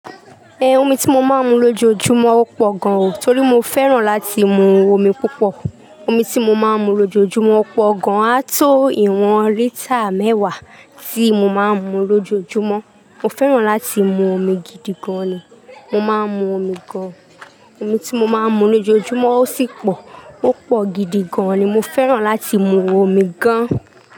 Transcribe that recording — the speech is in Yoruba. Ẹ̀ omi tí mo máa ń mu lójoojúmọ́ ó pọ̀ gan o, torí mo fẹ́ràn láti mu omi púpọ̀. Omi tí mo máa ń mu lójoojúmọ́ ó pọ̀ gan, á tó ìwọ̀n lítà mẹ́wàá tí mo máa ń mu lójoojúmọ́. Mọ fẹ́ràn láti mu omi gidi gan ni. Mọ máa ń mu omi gan. Omi tí mo máa ń mu lójoojúmọ́ ó sì pọ̀. Ó pọ̀ gidi gan ni, mo fẹ́ràn láti mu omi gan.